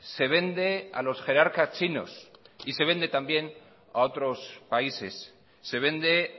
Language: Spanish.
se vende a los jerarcas chinos y se vende también a otros países se vende